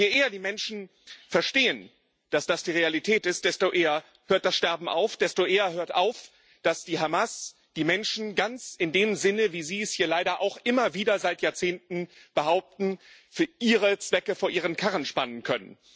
Und je eher die Menschen verstehen, dass das die Realität ist, desto eher hört das Sterben auf, desto eher hört auf, dass die Hamas die Menschen ganz in dem Sinne, wie Sie es hier leider auch immer wieder seit Jahrzehnten behaupten für ihre Zwecke vor ihren Karren spannen kann.